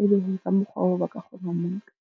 e be ka mokgwa oo ba ka kgona ho mo nka.